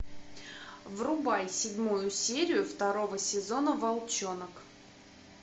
врубай седьмую серию второго сезона волчонок